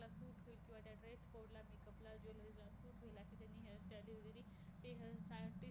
अस त्यांनी hair style ते hair